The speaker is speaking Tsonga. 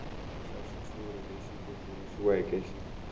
xa xitshuri lexi tumbuluxiweke xi